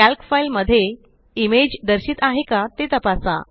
calc file मध्ये image दर्शित आहे का ते तपासा